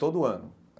Todo ano.